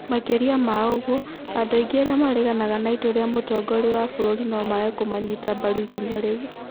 Makĩria ma ũguo, andũ aingĩ arĩa mareganaga na itua rĩa mũtongoria wa bũrũri no mage kũmanyita mbaru ikinya rĩu.